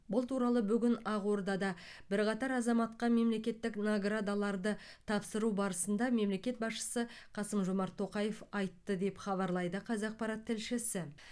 бұл туралы бүгін ақордада бірқатар азаматқа мемлекеттік наградаларды тапсыру барысында мемлекет басшысы қасым жомарт тоқаев айтты деп хабарлайды қазақпарат тілшісі